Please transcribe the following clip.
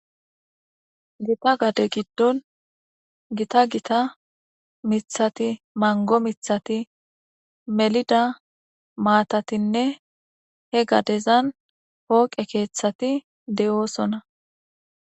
gita gade giddon gita gita mithati mango mithati melida maatatinne he gadezan pooqe keeththati de7oosona